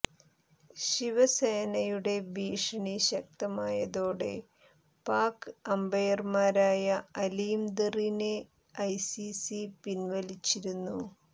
ശിവസേനയുടെ ഭീഷണി ശക്തമായതോടെ പാക് അമ്പയര്മാരായ അലീം ദറിനെ ഐസിസി പിന്വലിച്ചിരുന്നു